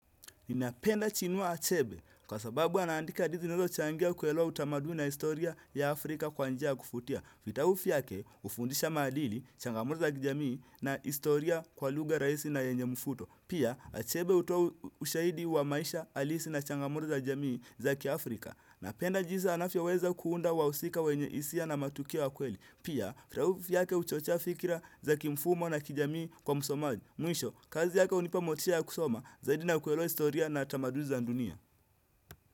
Ninapenda Chinua Achebe, kwa sababu anandika hadithi zinazochangia kuelewa utamaduni na historia ya Afrika kwa njia ya kuvutia. Vitabu vyake hufundisha maadili, changamuto za kijamii na historia kwa lugha rahisi na yenye mvuto. Pia Achebe hutoa ushahidi wa maisha halisi na changamto za jamii za kiAfrika. Napenda jinsi anavyoweza kuunda wahusika wenye hisia na matukio ya kweli. Pia vitabu vyake huchocha fikira za kimfumo na kijamii kwa msomaji. Mwisho, kazi yake hunipa motisha ya kusoma, zaidi na kuelewa historia na tamanduni za dunia.